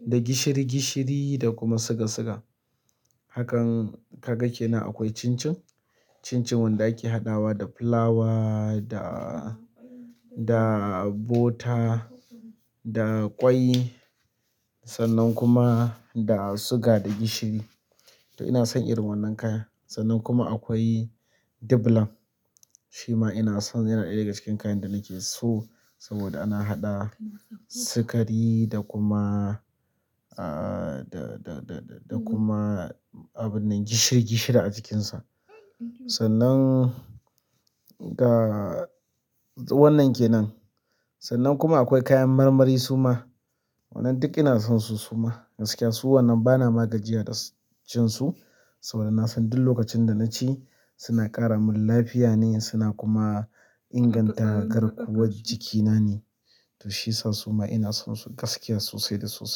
da gishiri-gishiri da kuma siga-siga. Hakan ka ga ke nan akwai chin chin. Chin chin wanda ake haɗawa da fulawa da, da bota da ƙwai sannan kuma da suga da gishiri. To ina son irin wannan kaya. Sannan kuma akwai diblam. Shi ma ina son yana ɗaya daga cikin kayan da nake so saboda ana haɗa sukari da kuma, ah, da, da, da, da kuma abun nan gishiri-gishiri a cikinsa. Sannan ga wannan ke nan. Sannan kuma akwai kayan marmari su ma. Wannan duk ina son su su ma. Gaskiya su wannan bana magajiya da cin su saboda ina son duk lokacin da na ci suna ƙara min lafiya ne, suna kuma inganta garkuwar jikina ne. To shi ya sa su ma ina son su gaskiya sosai da su.